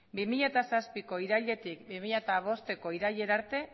bi mila zazpiko irailetik bi mila hamabosteko irailera arte